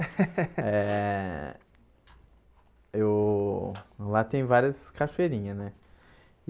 É... Eu... Lá tem várias cachoeirinhas, né?